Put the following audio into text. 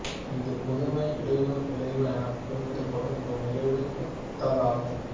இது புதுமை இடையூறு விளைவு என குறிப்பிடப்படும் ஒரு நிகழ்வை ஒத்ததாகும்